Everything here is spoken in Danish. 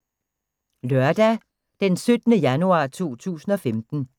Lørdag d. 17. januar 2015